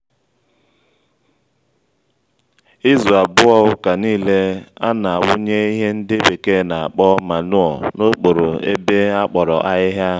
izu abụọ ụka niile ana-awụnye ihe ndị bekee na-akpọ manụo n'okporo ébé akpọrọ ahịhịa